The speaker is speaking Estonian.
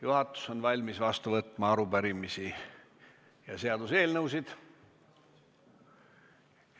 Juhatus on valmis vastu võtma arupärimisi ja seaduseelnõusid.